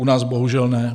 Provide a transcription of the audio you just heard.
U nás bohužel ne.